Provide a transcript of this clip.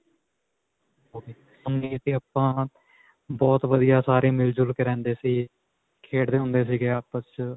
ਆਪਾਂ ਬਹੁਤ ਵਧੀਆ ਸਾਰੇ ਮਿਲਜੁਲ ਕੇ ਰਹਿੰਦੇ ਸੀ, ਖੇਡਦੇ ਹੁੰਦੇ ਸੀਗੇ ਆਪਸ 'ਚ.